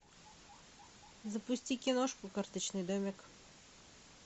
запусти киношку карточный домик